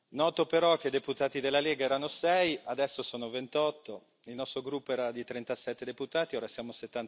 Noto però che i deputati della Lega erano 6, adesso sono 28, il nostro gruppo era di 37 deputati, ora siamo